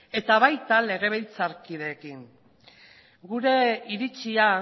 eta baita legebiltzarkideekin ere gure iritzia